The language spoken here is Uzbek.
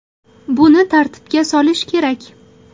Buni tartibga solish kerak.